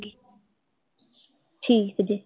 ਠੀਕ ਹੈ